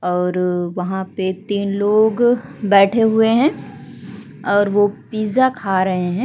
और वहाँ पे तीन लोग बैठें हुए हैं और ओ पिज़्ज़ा खा रहें हैं।